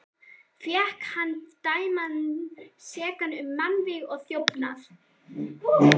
Fékk hann dæmdan sekan um mannvíg og þjófnað.